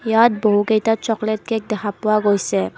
ইয়াত বহুকেইটা chocolate cake দেখা পোৱা গৈছে।